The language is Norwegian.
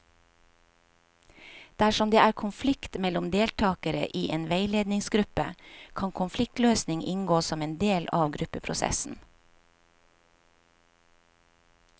Dersom det er konflikt mellom deltakere i en veiledningsgruppe, kan konfliktløsning inngå som en del av gruppeprosessen.